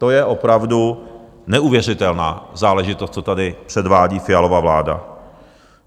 To je opravdu neuvěřitelná záležitost, co tady předvádí Fialova vláda.